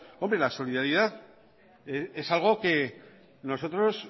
hombre la solidaridad es algo que nosotros